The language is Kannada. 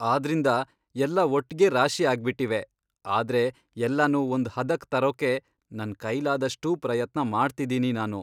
ಆದ್ರಿಂದ ಎಲ್ಲ ಒಟ್ಗೆ ರಾಶಿ ಆಗ್ಬಿಟ್ಟಿವೆ, ಆದ್ರೆ ಎಲ್ಲನೂ ಒಂದ್ ಹದಕ್ ತರೋಕೆ ನನ್ ಕೈಲಾದಷ್ಟೂ ಪ್ರಯತ್ನ ಮಾಡ್ತಿದೀನಿ ನಾನು.